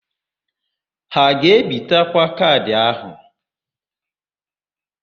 Ha a ga-ebitekwa kaadị áhụ̀?